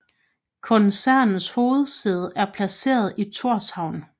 Koncernens hovedsæde er placeret i Thorshavn